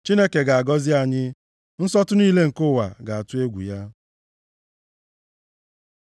Chineke ga-agọzi anyị, nsọtụ niile nke ụwa ga-atụ egwu ya.